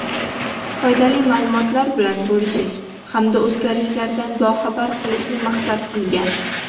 foydali ma’lumotlar bilan bo‘lishish hamda o‘zgarishlardan boxabar qilishni maqsad qilgan.